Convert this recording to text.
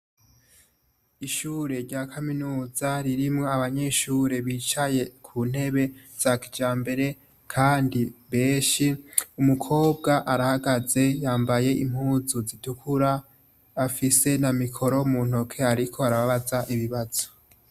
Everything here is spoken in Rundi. Ishure rya kaminuza ririmwo abanyeshure bicaye kuntebe za kijambere kandi benshi, umukobwa arahagaze yambaye impuzu zitukura afise na mikoro muntoke ariko arabaza ibibazo.